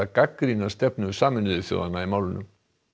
gagnrýna stefnu Sameinuðu þjóðanna í málinu